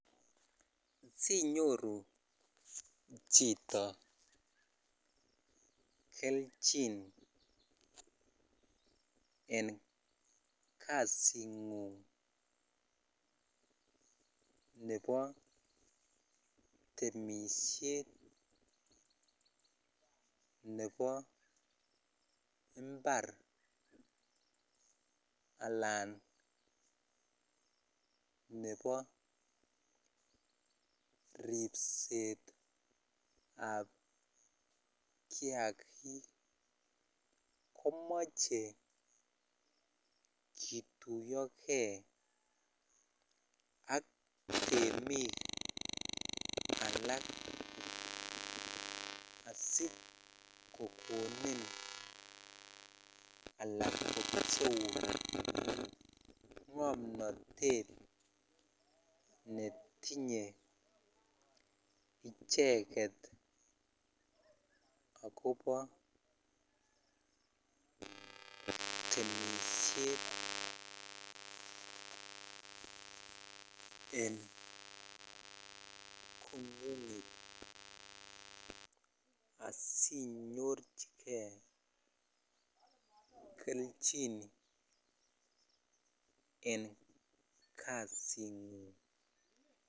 Sinyoru chito kelchin en kasing'ung ne bo temisiet ne bo mbar alan ne bo ripsetab kiagik komoche kituiyoge ak temik alak asikokonini alan kopcheun ng'omnotet netinye icheket akopo temisiet en en konyin asinorchikee kelchin en kasing'ung.